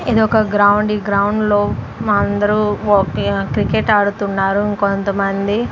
ఇది ఒక గ్రౌండ్ ఈ గ్రౌండ్లో మా అందరూ ఒకే క్రికెట్ ఆడుతున్నారు ఇంకొంతమంది--